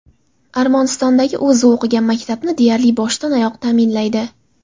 Armanistondagi o‘zi o‘qigan maktabni deyarli boshdan-oyoq ta’minlaydi.